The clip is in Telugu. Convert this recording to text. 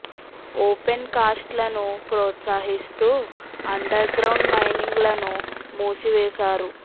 ఓపెన్ కాస్ట్ లను ప్రోత్సహిస్తూ అండర్ గ్రౌండ్ మైనింగ్ లను మూసివేశారు